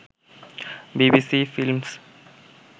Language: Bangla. BBC films